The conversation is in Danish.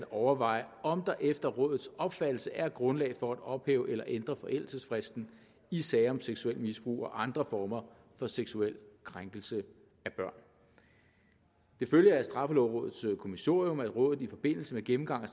overveje om der efter rådets opfattelse er grundlag for at ophæve eller ændre forældelsesfristen i sager om seksuelt misbrug og andre former for seksuel krænkelse af børn det følger af straffelovrådets kommissorium at rådet i forbindelse med gennemgangen